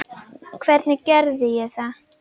Hvernig gerði ég það?